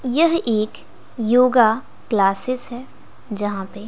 यह एक yoga classes है यहां पे--